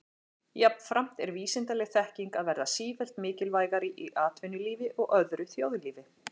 Jafnframt er vísindaleg þekking að verða sífellt mikilvægari í atvinnulífi og öðru þjóðlífi.